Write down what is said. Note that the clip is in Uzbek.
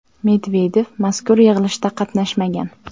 Medvedev mazkur yig‘ilishda qatnashmagan.